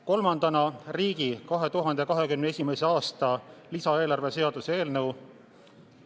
Kolmandaks, riigi 2021. aasta lisaeelarve seaduse eelnõu.